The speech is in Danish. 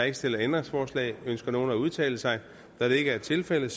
ikke stillet ændringsforslag ønsker nogen at udtale sig da det ikke er tilfældet